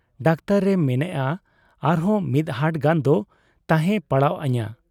Doctor ᱮ ᱢᱮᱱᱮᱜ ᱟ ᱟᱨᱦᱚᱸ ᱢᱤᱫᱦᱟᱴ ᱜᱟᱱ ᱫᱚ ᱛᱟᱦᱮᱸ ᱯᱟᱲᱟᱣ ᱟᱹᱧᱟ ᱾'